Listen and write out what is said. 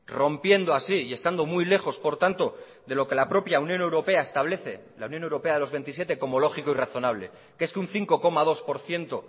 rompiendo así y estando muy lejos por tanto de lo que la propia unión europea establece la unión europea de los veintisiete como lógico y razonable que es que un cinco coma dos por ciento